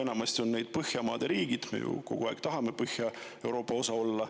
Põhiliselt on need Põhjamaad ja me ju kogu aeg tahame Põhja-Euroopa osa olla.